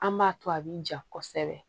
An b'a to a bi jan kosɛbɛ